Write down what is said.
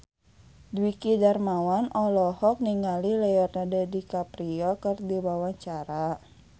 Dwiki Darmawan olohok ningali Leonardo DiCaprio keur diwawancara